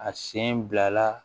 A sen bila la